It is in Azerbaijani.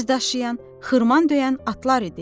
dərz daşıyan, xırman döyən atlar idi.